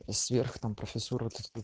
сверх там профессура